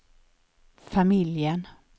familjen